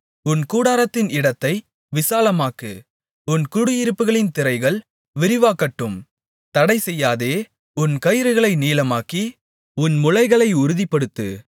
உன் கூடாரத்தின் இடத்தை விசாலமாக்கு உன் குடியிருப்புகளின் திரைகள் விரிவாகட்டும் தடைசெய்யாதே உன் கயிறுகளை நீளமாக்கி உன் முளைகளை உறுதிப்படுத்து